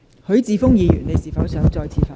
許智峯議員，你是否想再次發言？